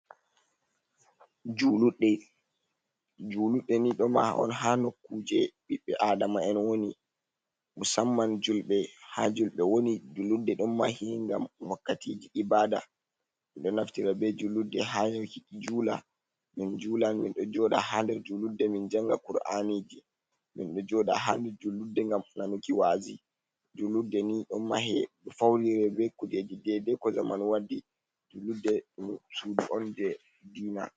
Juuluɗɗe, juuluɗɗe ni ɗo maha on, haa nokkuuje ɓiɓɓe aadama'en woni, musamman julɓe, haa julɓe woni. Juuluɗɗe ɗon mahe, ngam wakkatiji ibaada. Min ɗo naftira be juulurde may juula min juula. Min ɗo jooɗa haa nder juulurde, min jannga kur’aniji, min ɗo jooɗa haa nder juulurde, ngam nanuki wazi. Juulurde ɗo fawnire be kujeji, deydey ko zaman waddi julludde suudu on jey diina.